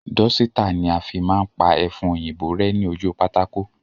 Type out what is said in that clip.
Dọ́sítà ni a fi máa ń pa ẹfun òyìnbó rẹ́ ní ojú pátákó